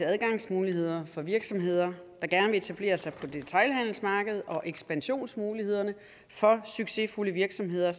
adgangsmuligheder for virksomheder der gerne vil etablere sig på detailhandelsmarkedet og ekspansionsmuligheder for succesfulde virksomheder i